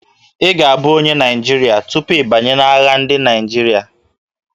Ị ga-abụ onye Naịjirịa tupu ị banye na ndị agha Naịjirịa